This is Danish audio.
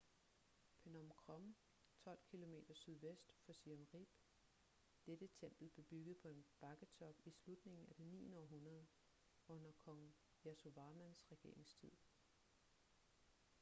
phnom krom 12 km sydvest for siem reap dette tempel blev bygget på en bakketop i slutningen af det 9. århundrede under kong yasovarmans regeringstid